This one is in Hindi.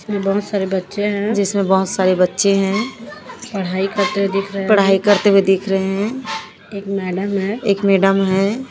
जिसमें बहोत सारे बच्चे हैं जिसमें बहोत सारे बच्चे हैं पढ़ाई करते हुए दिख रहे हैं पढ़ाई करते हुए दिख रहे हैं एक मैडम है एक मैडम है।